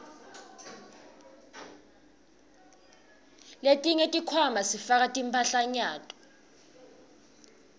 letinye tikhwama sifaka timphahlanyato